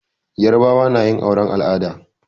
Yarbawa na yin auren al'ada.